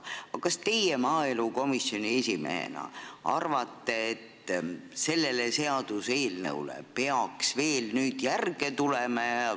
Aga kas teie maaelukomisjoni esimehena arvate, et sellele seaduseelnõule peaks ka järg tulema?